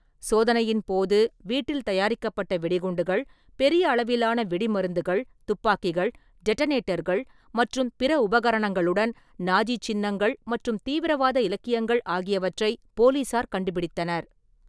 சோதனையின் போது, ​​வீட்டில் தயாரிக்கப்பட்ட வெடிகுண்டுகள், பெரிய அளவிலான வெடிமருந்துகள், துப்பாக்கிகள், டெட்டனேட்டர்கள் மற்றும் பிற உபகரணங்களுடன் நாஜி சின்னங்கள் மற்றும் தீவிரவாத இலக்கியங்கள் ஆகியவற்றை போலீசார் கண்டுபிடித்தனர்.